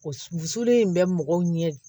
Wusuli in bɛ mɔgɔw ɲɛ